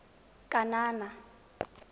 kanana